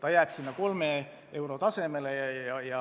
Hinnalangus jääb 3 euro tasemele.